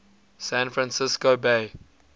san francisco bay